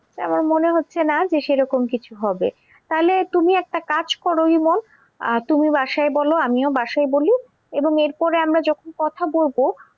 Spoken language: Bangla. তাই আমার মনে হচ্ছে না যে সেরকম কিছু হবে। তাহলে তুমি একটা কাজ কর ইমন আহ তুমি বাসায় বলো আমিও বাসায় বলি এবং এরপরে আমরা যখন কথা বলবো